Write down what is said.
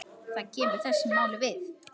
Það kemur þessu máli við.